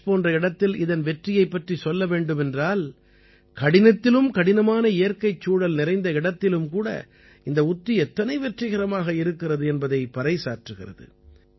கட்ச் போன்ற இடத்தில் இதன் வெற்றியைப் பற்றிச் சொல்ல வேண்டுமென்றால் கடினத்திலும் கடினமான இயற்கைச் சூழல் நிறைந்த இடத்திலும் கூட இந்த உத்தி எத்தனை வெற்றிகரமாக இருக்கிறது என்பதை பறை சாற்றுகிறது